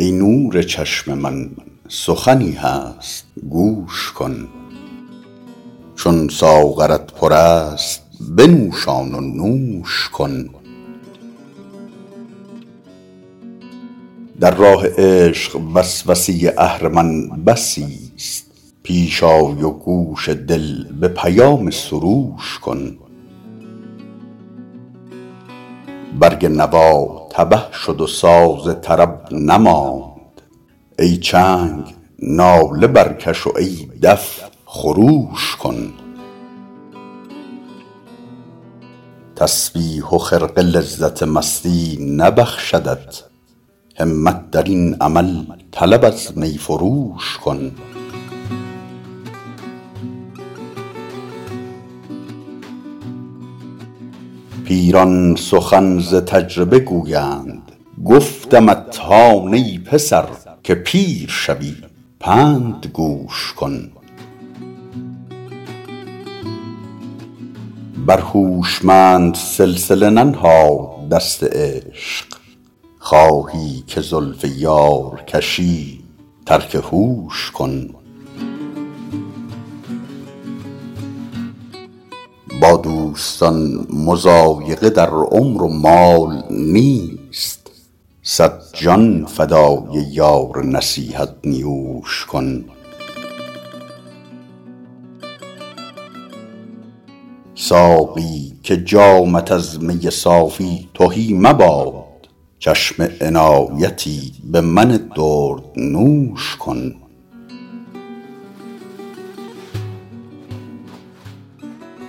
ای نور چشم من سخنی هست گوش کن چون ساغرت پر است بنوشان و نوش کن در راه عشق وسوسه اهرمن بسیست پیش آی و گوش دل به پیام سروش کن برگ نوا تبه شد و ساز طرب نماند ای چنگ ناله برکش و ای دف خروش کن تسبیح و خرقه لذت مستی نبخشدت همت در این عمل طلب از می فروش کن پیران سخن ز تجربه گویند گفتمت هان ای پسر که پیر شوی پند گوش کن بر هوشمند سلسله ننهاد دست عشق خواهی که زلف یار کشی ترک هوش کن با دوستان مضایقه در عمر و مال نیست صد جان فدای یار نصیحت نیوش کن ساقی که جامت از می صافی تهی مباد چشم عنایتی به من دردنوش کن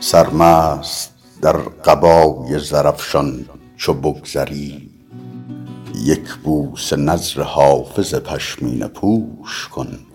سرمست در قبای زرافشان چو بگذری یک بوسه نذر حافظ پشمینه پوش کن